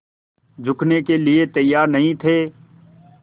झुकने के लिए तैयार नहीं थे